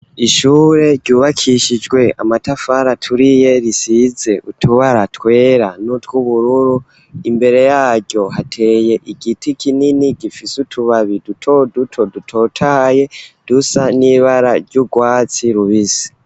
Ishure ryubakishijwe amatafari aturiye risize utubara twera n'utw'ubururu imbere yaryo hateye igiti kinini gifise utubabi duto duto dutotaye dusa n'ibara ry'ubwatsi rubisi.